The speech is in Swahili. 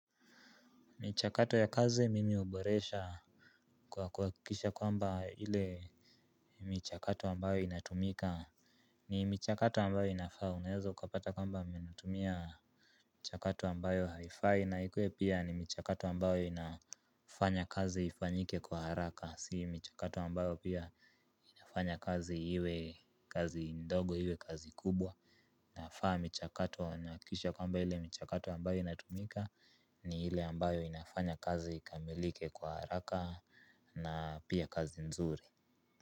Michakato ya kazi mimi huboresha kwa kuhakikisha kwamba ile michakato ambayo inatumika ni michakato ambayo inafaa unaeza ukupata kwamba ninatumia. Michakato ambayo haifai na ikuwe pia ni michakato ambayo inafanya kazi ifanyike kwa haraka si michakato ambayo pia inafanya kazi iwe kazi ndogo iwe kazi kubwa. Nafaa michakato nahakikisha kwamba ile michakato ambayo inatumika ni ile ambayo inafanya kazi ikamilike kwa haraka na pia kazi nzuri.